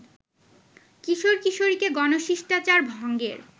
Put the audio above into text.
কিশোর-কিশোরীকে ‘গণশিষ্টাচার’ ভঙ্গের